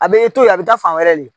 A bɛ e to ye a bɛ taa fan wɛrɛ len.